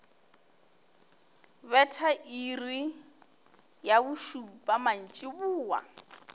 betha iri ya bošupa mantšiboa